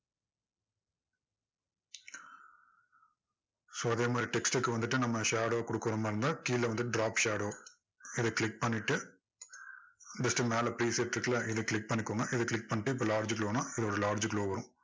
so அதே மாதிரி text க்கு வந்துட்டு நம்ம shadow கொடுக்கிற மாதிரி இருந்தா கீழ வந்து drop shadow இதை click பண்ணிட்டு just மேல போயி set இருக்குல்ல இதை click பண்ணிகோங்க click பண்ணிட்டு large glow னா ஒரு large glow வரும்